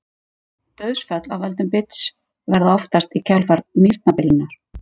Dauðsföll af völdum bits verða oftast í kjölfar nýrnabilunar.